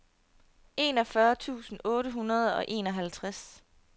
enogfyrre tusind otte hundrede og enoghalvtreds